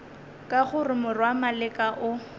ke gore morwa maleka o